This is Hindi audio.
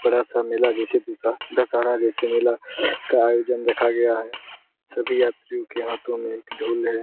बड़ा सा मेला जैसे दशहरा जैसे मेला का अयोजन रखा गया है | सभी यात्रियों के हाथो में ढोल है |